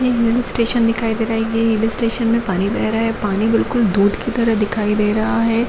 हिल station दिखाई दे रहा है ये हिल स्टेशन में पानी बह रहा है पानी बिलकुल दूध जैसा दिख रहा है।